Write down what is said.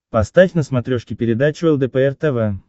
поставь на смотрешке передачу лдпр тв